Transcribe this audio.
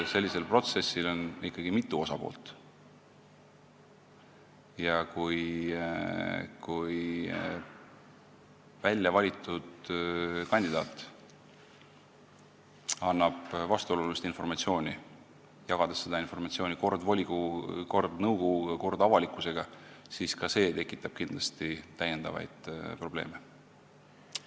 Sellisel protsessil on ikkagi mitu osapoolt ja kui väljavalitud kandidaat annab vastuolulist informatsiooni, jagades seda informatsiooni kord volikogu, kord nõukogu, kord avalikkusega, siis ka see tekitab kindlasti probleeme.